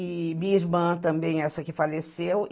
e minha irmã também, essa que faleceu.